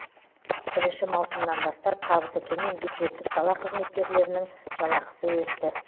бірінші маусымнан бастап табысы төмен бюджеттік сала қызметкерлерінің жалақысы өсті